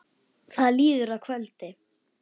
Það líður að kvöldi.